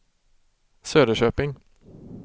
Söderköping